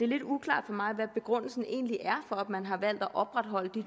lidt uklart for mig hvad begrundelsen egentlig er for at man har valgt at opretholde de